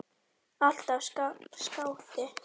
Alltaf skáti.